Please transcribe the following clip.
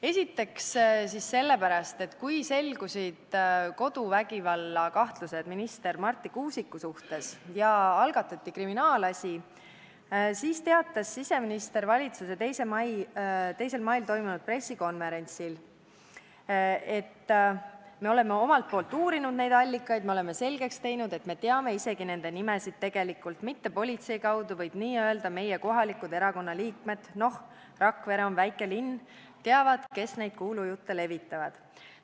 Esiteks sellepärast, et kui selgusid koduvägivallakahtlused minister Marti Kuusiku suhtes ja algatati kriminaalasi, siis teatas siseminister valitsuse 2. mail toimunud pressikonverentsil: "No me oleme omalt poolt uurinud neid allikaid ja me oleme selgeks teinud, et me teame isegi nende nimesid tegelikult, mitte politsei kaudu, vaid nö meie kohalikud erakonna liikmed – noh, Rakvere on väike linn – teavad, kes neid kuulujutte levitavad.